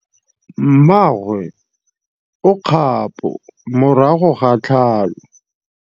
Mmagwe o kgapô morago ga tlhalô.